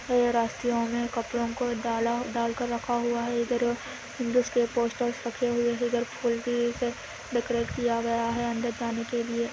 ये रास्ते में कपडोंके दाल कर रहा हे इदार हिन्दुस् के पोस्टर्स रेक हुए हे ेदार पूल बी डेकोरेट किया गया हे अंदर जाने केलिए |